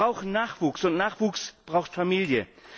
Wir brauchen Nachwuchs, und Nachwuchs braucht Familie.